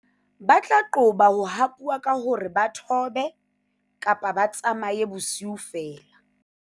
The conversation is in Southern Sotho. ba tla qoba ho hapuwa ka hore ba thobe-tsamaye bosiu feela